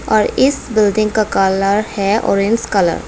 और इस बिल्डिंग का कलर है ऑरेंज कलर ।